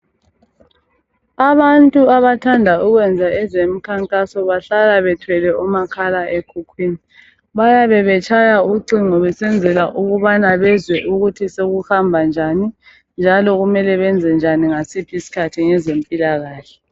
abantu abathanda ukwenza ezemikhankaso bahlala bethwele umakhala ekhukhwini bayabe betshaya ucingo besenzela ukuthi bezwe ukuthi sekuhamba njani njalo kumele benze njani ngasiphi isikhathi ngezempilakahle